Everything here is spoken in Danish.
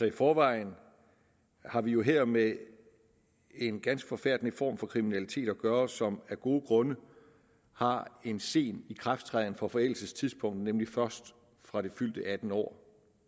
i forvejen har vi jo her med en ganske forfærdende form for kriminalitet at gøre som af gode grunde har en sen ikrafttræden for forældelsestidspunktet nemlig først fra det fyldte attende år